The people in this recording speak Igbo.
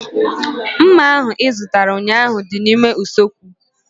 Mma ahu ị zụtara ụnyaahụ dị n'ime usekwu